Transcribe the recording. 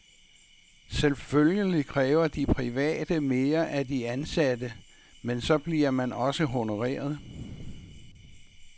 Selvfølgelig kræver de private mere af de ansatte, men så bliver man også honoreret.